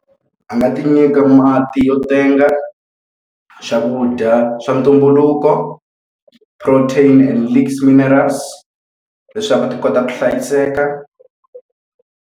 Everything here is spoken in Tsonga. A nga ti nyika mati yo tenga, swakudya swa ntumbuluko, protein minerals leswaku ti kota ku hlayiseka.